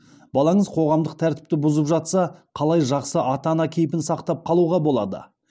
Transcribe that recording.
балаңыз қоғамдық тәртіпті бұзып жатса қалай жақсы ата ана кейпін сақтап қалуға болады